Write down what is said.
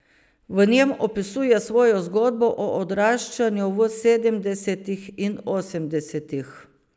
V njem opisuje svojo zgodbo o odraščanju v sedemdesetih in osemdesetih.